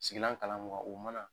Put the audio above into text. Sigilan kala mun kan o mana